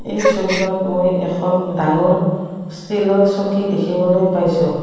এই ছবিখনত মই এখন ডাঙৰ ষ্টিলৰ চকী দেখিবলৈ পাইছোঁ।